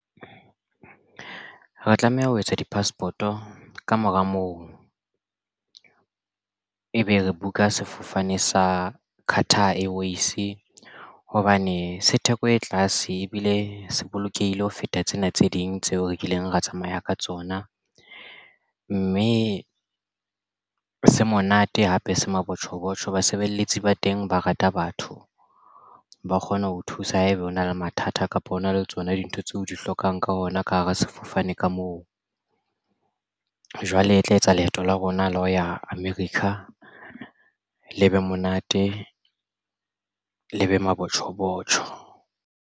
Re tlameha ho etsa di-passport-o kamora moo ebe re buka sefofane sa Carter Airways hobane se theko e tlase ebile se bolokehile ho feta tsena tse ding tseo rekileng ra tsamaya ka tsona mme se monate hape se mabotjho botjho. Basebeletsi ba teng ba rata batho ba kgona ho thusa haeba o na le mathata kapa hona le tsona dintho tseo di hlokang ka ona ka hara sefofane ka moo jwale e tla etsa leeto la rona la ho ya America le be monate le be mabotjho botjho.